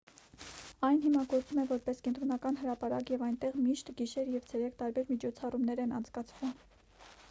այն հիմա գործում է որպես կենտրոնական հրապարակ և այնտեղ միշտ գիշեր և ցերեկ տարբեր միջոցառումներ են անցկացվում